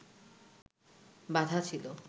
বাঁধা ছিল